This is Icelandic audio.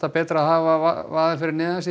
betra að hafa vaðið fyrir neðan sig